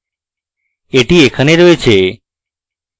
এটি এখানে রয়েছে